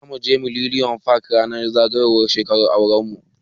Zamu je millennium park ranar zagayowar shekarar auran mu.